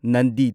ꯅꯟꯗꯤꯗ